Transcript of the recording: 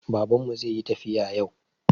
Baban mu zai yi tafiya yau